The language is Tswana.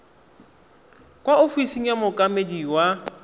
kwa ofising ya mookamedi wa